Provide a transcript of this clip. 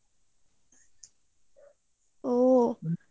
ও